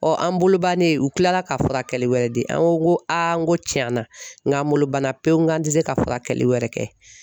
an bolo bannen u kilala ka furakɛli wɛrɛ di an ko ko n ko tiɲɛna n k'an bolo banna pewu n k'an tɛ se ka furakɛli wɛrɛ kɛ.